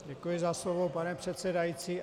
Děkuji za slovo, pane předsedající.